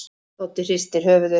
Doddi hristir höfuðið.